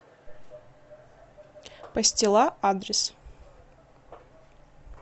пастила адрес